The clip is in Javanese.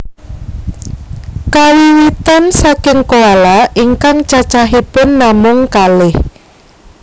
Kawiwitan saking koala ingkang cacahipun namung kalih